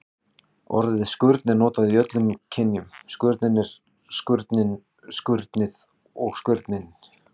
Orðið skurn er notað í öllum kynjum: skurnin, skurnið og skurninn.